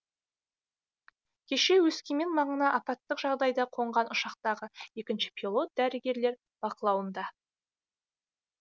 кеше өскемен маңына апаттық жағдайда қонған ұшақтағы екінші пилот дәрігерлер бақылауында